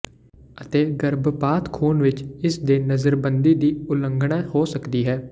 ਅਤੇ ਗਰਭਪਾਤ ਖੂਨ ਵਿੱਚ ਇਸ ਦੇ ਨਜ਼ਰਬੰਦੀ ਦੀ ਉਲੰਘਣਾ ਹੋ ਸਕਦੀ ਹੈ